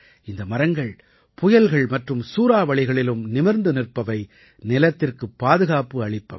இந்த மரங்கள் புயல்கள் மற்றும் சூறாவளிகளிலும் நிமிர்ந்து நிற்பவை நிலத்திற்குப் பாதுகாப்பளிப்பவை